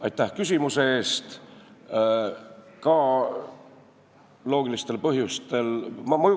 Aitäh küsimuse eest!